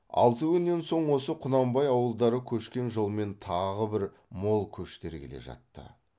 алты күннен соң осы құнанбай ауылдары көшкен жолмен тағы бір мол көштер келе жатты